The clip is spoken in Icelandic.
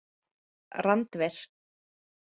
Randver